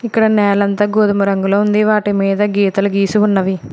ఇక్కడ నేలంతా గోధుమ రంగులో ఉంది వాటి మీద గీతలు గీసి ఉన్నవి.